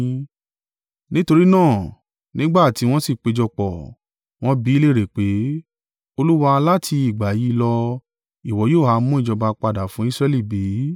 Nítorí náà, nígbà tí wọ́n sì péjọpọ̀, wọn bi í léèrè pé, “Olúwa, láti ìgbà yí lọ ìwọ yóò ha mú ìjọba padà fún Israẹli bí?”